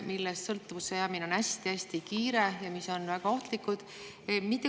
Nendest sõltuvusse jäämine on hästi-hästi kiire ja need on väga ohtlikud.